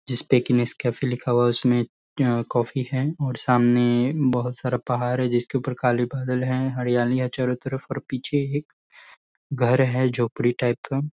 जिसपे English cafe लिखा हुआ। उसमें कॉफी है और सामने बहोत सारा पहाड़ है। जिसके ऊपर काले बदल है। हरियालियां चारो तरफ और पीछे एक घर है झोपड़ी टाइप का।